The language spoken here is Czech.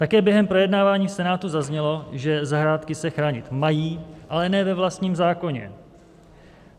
Také během projednávání v Senátu zaznělo, že zahrádky se chránit mají, ale ne ve vlastním zákoně.